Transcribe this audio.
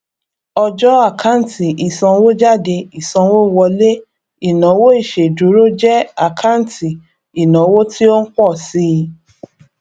ọjọ àkáǹtì ìsanwójáde ìsanwówọlé ìnáwó ìṣèdúró jẹ àkáǹtì ìnáwó tí ó ń pọ síi